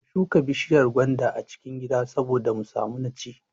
Ka shuka bishiyar gwanda a cikin gida saboda mu samu na ci